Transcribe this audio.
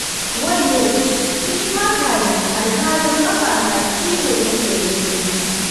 wayyo! kin taka ni alhalin kafata ciwo take yi mini